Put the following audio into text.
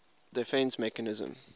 defence mechanism